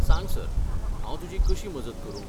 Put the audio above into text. सांग सर, हांव तुजी कशी मजत करूं?